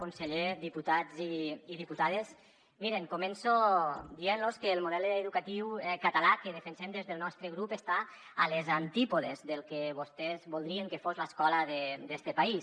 conseller diputats i diputades miren començo dient·los que el model educatiu català que defensem des del nostre grup està a les antípodes del que vostès voldrien que fos l’escola d’este país